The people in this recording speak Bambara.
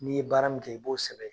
N'i ye baara min kɛ, i b'o sɛbɛn.